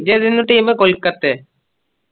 ഇജ്ജെതരുന്നു team Kolkata